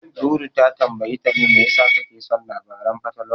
Dudu ta tambayi Tani me yasa take son labaran fatalwa.